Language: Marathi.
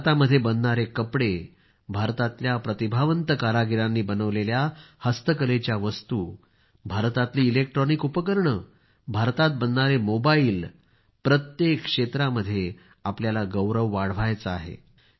भारतामध्ये बनणारे कापड भारतातल्या प्रतिभावंत कारागिरांनी बनविलेल्या हस्तकलेच्या वस्तू भारतातली इलेक्ट्रॉनिक उपकरणं भारतात बनणारे मोबाइल प्रत्येक क्षेत्रामध्ये आपल्याला गौरव वाढवायचा आहे